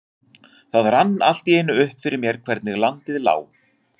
Það rann allt í einu upp fyrir mér hvernig landið lá.